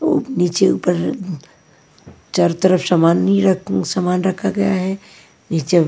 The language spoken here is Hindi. नीचे ऊपर चारों तरफ सामान नी रख सामान रखा गया है नीचे--